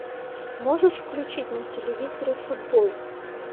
можешь включить на телевизоре футбол